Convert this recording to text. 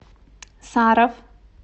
саров